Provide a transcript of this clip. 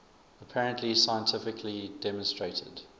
apparently scientifically demonstrated